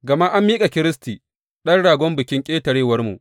Gama an miƙa Kiristi Ɗan Ragon Bikin Ƙetarewarmu.